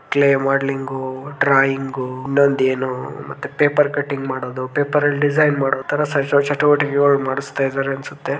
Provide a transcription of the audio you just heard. Clay modelling drawing ಇನೊಂದು ಏನು ಮತ್ತೆ ಪೇಪರ್ ಕಟಿಂಗ್ ಮಾಡೊದು ಪೇಪರ್ ಅಲ್ಲಿ ಡಿಸೈನ್ ಮಾಡೊತರ ಶೈಕ್ಷನಿಕ್ ಚಟುವಟಿಕೆಗಳು ಮಾಡಸ್ತಾ ಇದ್ದಾರ ಅನುಸುತ್ತೆ .